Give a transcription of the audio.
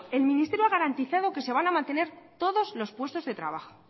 el ministerio ha garantizado que se van a mantener todos los puestos de trabajo